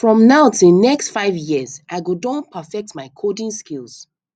from now till next five years i go don perfect my coding skills